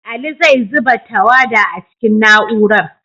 Ali zai zuba tawada a cikin na'urar.